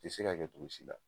O ti se ka kɛ cogo si la